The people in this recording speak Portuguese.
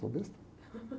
Sou besta.